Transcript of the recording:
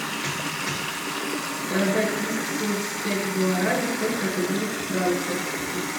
продать триста семьдесят пять гуарани сколько это будет в франках